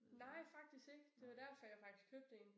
Nej faktisk ikke. Det var derfor jeg faktisk købte en